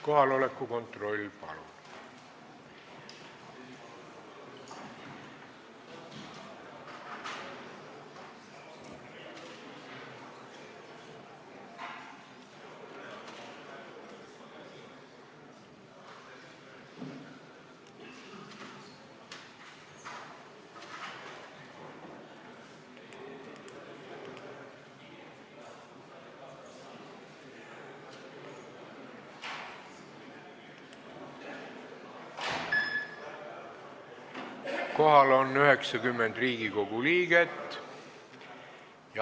Kohaloleku kontroll Kohal on 90 Riigikogu liiget.